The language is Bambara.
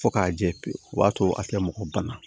Fo k'a jɛ pewu o b'a to a tɛ mɔgɔ banna